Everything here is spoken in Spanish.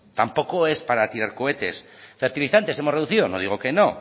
tampoco es para tirar cohetes fertilizantes hemos reducido no digo que no